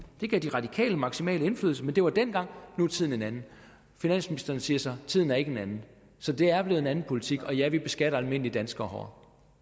det gav de radikale maksimal indflydelse men det var dengang nu er tiden en anden finansministeren siger så tiden er ikke en anden så det er blevet en anden politik og ja vi beskatter almindelige danskere